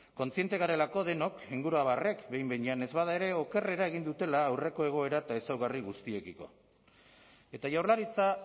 kontziente garelako denok inguruabarrek behin behinean ez bada ere okerrera egin dutela aurreko egoera eta ezaugarri guztiekiko eta jaurlaritza